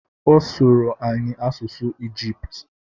Ọ sụrụ anyị asụsụ Ijiputu